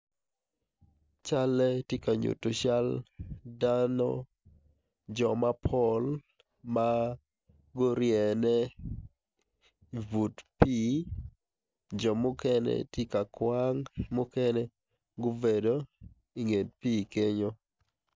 Calle tye ka yuto cal dano jo mapol ma guryene i but pii jo mukene tye ka kwang mukene gubedo i but pii kenyo.